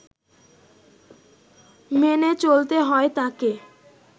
মেনে চলতে হয় তাকে